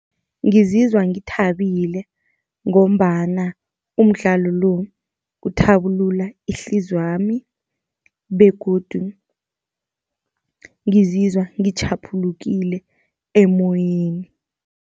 Ngizizwa ngithabile, ngombana umdlalo lo uthabulula ihliziy' yami begodu ngizizwa ngitjhaphulukile emoyeni.